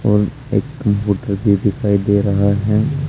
और एक कंप्यूटर भी दिखाई दे रहा है।